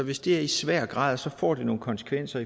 hvis det er i svær grad får det nogle konsekvenser